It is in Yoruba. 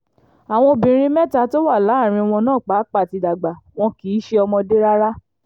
àwọn obìnrin mẹ́ta tó wà láàrin wọn náà pàápàá ti dàgbà wọn kì í ṣe ọmọdé rárá